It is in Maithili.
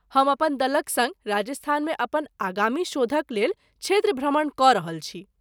हम अपन दलक सङ्ग राजस्थानमे अपन आगामी शोधक लेल क्षेत्र भ्रमण कऽ रहल छी।